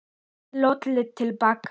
Lalli horfði til baka.